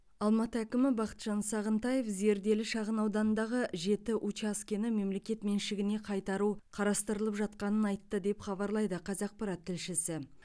алматы әкімі бақытжан сағынтаев зерделі шағын ауданындағы жеті учаскені мемлекет меншігіне қайтару қарастырылып жатқанын айтты деп хабарлайды қазақпарат тілшісі